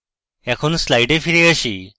এখন slides ফিরে আসি